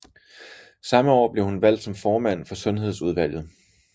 Samme år blev hun valgt som formand for sundhedsudvalget